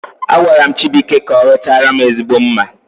Agwaram Chibuike ka orutaram ezigbote mma